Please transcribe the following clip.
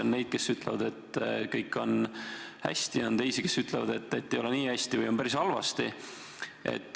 On neid, kes ütlevad, et kõik on hästi, ja on teisi, kes ütlevad, et ei ole nii hästi või on päris halvasti.